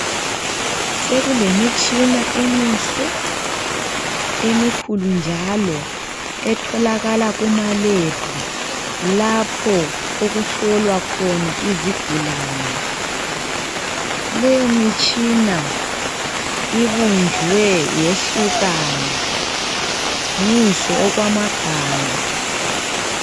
Sokulemitshina emihle, emikhulu njalo, etholakala kumalebhu lapho okuhlolwa khona izigulane, leyo mitshina ibunjwe yehlukana, mihle okwamagama.